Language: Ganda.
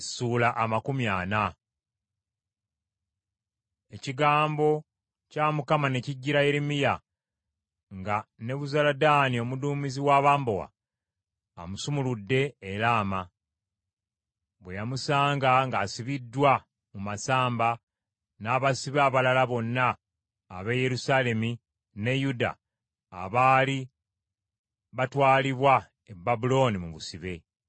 Ekigambo kya Mukama ne kijjira Yeremiya, nga Nebuzaladaani omuduumizi w’abambowa amusumuludde e Laama, bwe yamusanga ng’asibiddwa mu masamba n’abasibe abalala bonna ab’e Yerusaalemi ne Yuda abaali batwalibwa e Babulooni mu busibe.